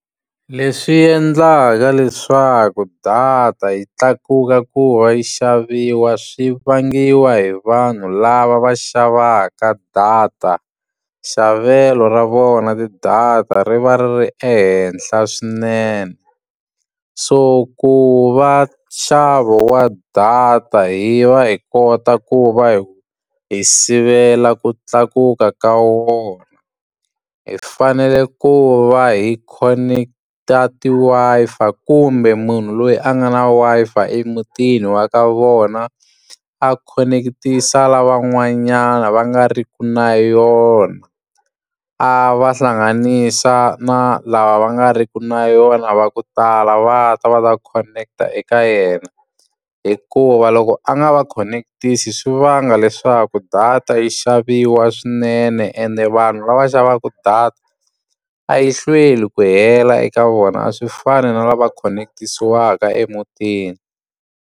Leswi endlaka leswaku data yi tlakuka ku wa yi xaviwa swi vangiwa hi vanhu lava va xavaka data, xavelo ra vona ti-data ri va ri ri ehenhla swinene. So ku va nxavo wa data hi va hi kota ku va hi hi sivela ku tlakuka ka wona, hi fanele ku va hi connect-a ti-Wi-Fi kumbe munhu loyi a nga na Wi-Fi emutini wa ka vona a khoneketisa lavan'wanyana va nga ri ki na yona. A va hlanganisa na lava va nga ri ki na yona va ku tala va ta va ta khoneketa eka yena, hikuva loko a nga va khoneketisi swi vanga leswaku data yi xaviwa swinene. Ende vanhu lava xavaka data, a yi hlweli ku hela eka vona a swi fani na lava connect-isiwaka emutini.